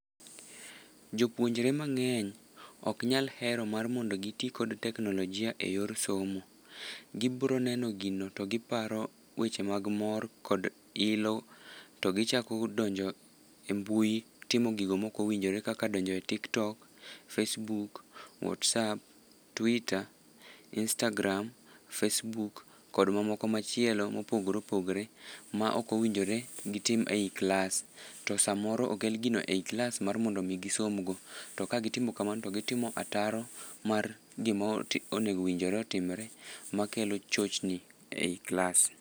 Jopuonjore mangény ok nyal hero mar mondo giti gi teknologia e yor somo. Gibiro neno gino to giparo weche mag mor kod ilo. To gichako donjo e mbui timo gigo ma ok owinjore kaka donjo e Tiktok, Facebook, Whatsapp, Twitter, Instagram, Facebook kod mamoko machielo mopogore opogore, ma ok owinjore gitim ei klas. To sa moro okel gino ei klas mar mondo omi gisom go. To ka gitimo kamano to gitimo ataro mar gima onego owinjore otimore. Ma kelo chochni ei klas.